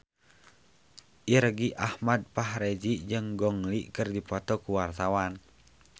Irgi Ahmad Fahrezi jeung Gong Li keur dipoto ku wartawan